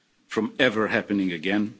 from ever happening again.